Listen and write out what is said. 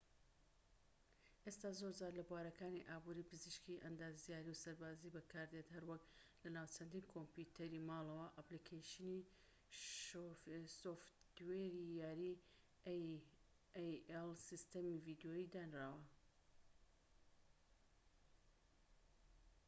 سیستەمی ai ئێستا زۆرجار لە بوارەکانی ئابوری پزیشکی ئەندازیاری و سەربازیی بەکاردێت هەروەک لە ناو چەندین کۆمپیۆتەری ماڵەوە و ئەپلیکەیشنی سۆفتوێری یاری ڤیدیۆیی دانراوە